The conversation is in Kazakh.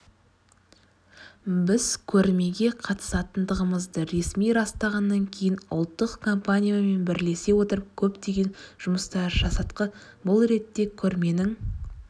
біз көрмеге қатысатындығымызды ресми растағаннан кейін ұлттық компаниямен бірлесе отырып көптеген жұмыстар жасадқы бұл ретте көрменің